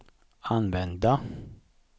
använda